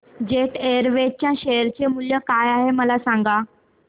jet Airways च्या share चे मूल्य काय आहे मला सांगा